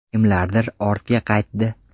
Kimlardir ortga qaytdi.